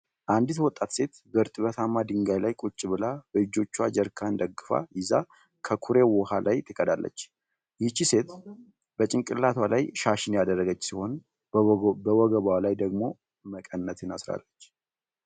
አንዲት ወጣት ሴት በእርጥበታማ ድንጋይ ላይ ቁጭ ብላ በእጆቿ ጀሪካን ደግፋ ይዛ ከኩሬ ዉሃ ላይ ትቀዳለች። ይህቺ ሴት በጭንቅላቷ ላይ ሻሽን ያደረገች ሲሆን በወገቧ ላይ ደግሞ መቀነትን አስራለች።